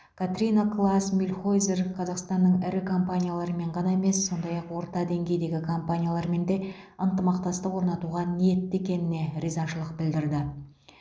катрина клаас мюльхойзер қазақстанның ірі компаниялармен ғана емес сондай ақ орта деңгейдегі компаниялармен де ынтымақтастық орнатуға ниетті екеніне ризашылық білдірді